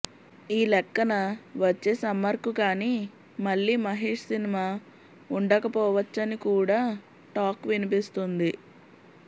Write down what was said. ఈ లెక్కన వచ్చే సమ్మర్ కు కానీ మళ్లీ మహేష్ సినిమా వుండకపోవచ్చని కూడా టాక్ వినిపిస్తోంది